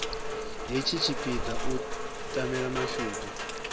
hetshi tshipiḓa u tamela mashudu